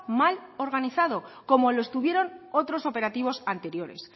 mal organizado como lo estuvieron otros operativos anteriores